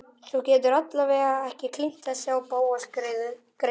Þú getur alla vega ekki klínt þessu á Bóas greyið.